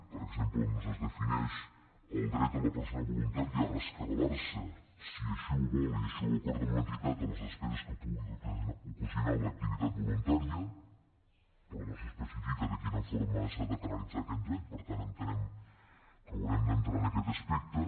per exemple doncs es defineix el dret de la persona voluntària a rescabalarse si així ho vol i així ho acorda amb l’entitat de les despeses que pugui ocasionar l’activitat voluntària però no s’especifica de quina forma s’ha de canalitzar aquest dret per tant entenem que haurem d’entrar en aquest aspecte